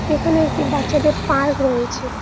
এখানে একটি বাচ্চাদের পার্ক রয়েছে।